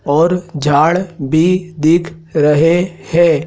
और झाड़ भी दिख रहे हैं।